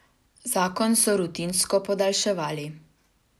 Zakon so rutinsko podaljševali.